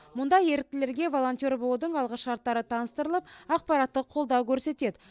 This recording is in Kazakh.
мұнда еріктілерге волонтер болудың алғышарттары таныстырылып ақпараттық қолдау көрсетеді